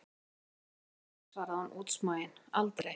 Ég segi ykkur það aldrei, svarði hún útsmogin, aldrei!